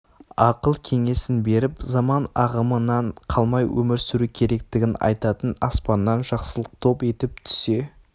ақыл кеңесін беріп заман ағымынан қалмай өмір сүру керектігін айтатын аспаннан жақсылық топ етіп түсе